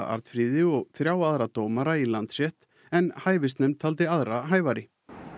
Arnfríði og þrjá aðra dómara í Landsrétt en hæfisnefnd taldi aðra hæfari